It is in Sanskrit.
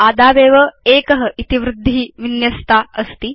आदावेव 1 इति वृद्धि विन्यस्ता अस्ति